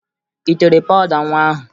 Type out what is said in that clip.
Ị tere pawụda nwa ahụ?